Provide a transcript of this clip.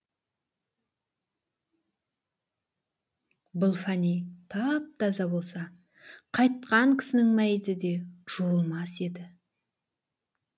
бұл фәни тап таза болса қайтқан кісінің мәйіті де жуылмас еді